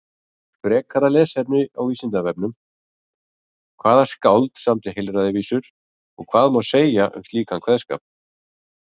Frekara lesefni á Vísindavefnum: Hvaða skáld samdi heilræðavísur og hvað má segja um slíkan kveðskap?